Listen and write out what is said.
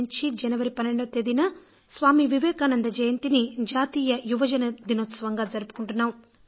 1995 నుంచి జనవరి 12న స్వామీ వివేకానంద జయంతిని జాతీయ యువ దినోత్సవంగా జరుపుకుంటున్నాం